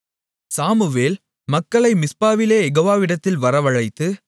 Samuel மக்களை மிஸ்பாவிலே யெகோவாவிடத்தில் வரவழைத்து